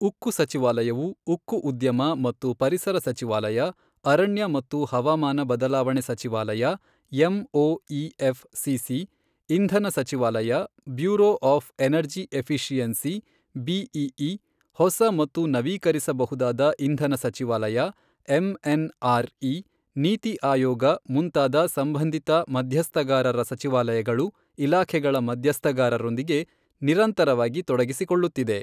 ಉಕ್ಕು ಸಚಿವಾಲಯವು ಉಕ್ಕು ಉದ್ಯಮ ಮತ್ತು ಪರಿಸರ ಸಚಿವಾಲಯ, ಅರಣ್ಯ ಮತ್ತು ಹವಾಮಾನ ಬದಲಾವಣೆ ಸಚಿವಾಲಯ ಎಂಒಇಎಫ್ ಸಿಸಿ, ಇಂಧನ ಸಚಿವಾಲಯ, bureau of energy efficiency BEE, ಹೊಸ ಮತ್ತು ನವೀಕರಿಸಬಹುದಾದ ಇಂಧನ ಸಚಿವಾಲಯ ಎಂಎನ್ಆರ್ ಇ, ನೀತಿ ಆಯೋಗ ಮುಂತಾದ ಸಂಬಂಧಿತ ಮಧ್ಯಸ್ಥಗಾರರ ಸಚಿವಾಲಯಗಳು ಇಲಾಖೆಗಳ ಮಧ್ಯಸ್ಥಗಾರರೊಂದಿಗೆ ನಿರಂತರವಾಗಿ ತೊಡಗಿಸಿಕೊಳ್ಳುತ್ತಿದೆ.